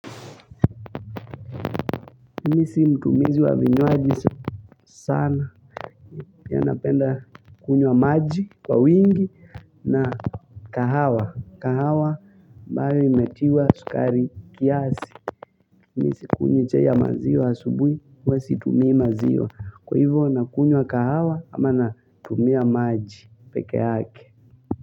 Mi sio mtumizi wa vinywaji sana pia napenda kunywa maji kwa wingi na kahawa. Kahawa ambayo imetiwa sukari kiasi. Mi sikunywi chai ya maziwa asubui huwa situmii maziwa. Kwa ivo nakunywa kahawa ama natumia maji pekeake.